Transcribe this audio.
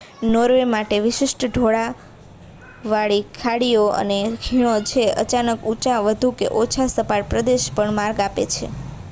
Norway માટે વિશિષ્ટ ઢોળાવવાળી ખાડીઓ અને ખીણો છે જે અચાનક ઊંચા વધુ કે ઓછા સપાટ પ્રદેશને પણ માર્ગ આપે છે